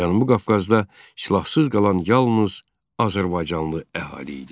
Cənubi Qafqazda silahsız qalan yalnız azərbaycanlı əhali idi.